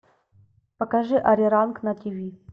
покажи ариранг на тв